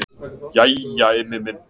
Jæja Immi minn.